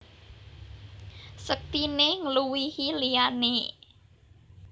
Sektiné ngluwihi liyané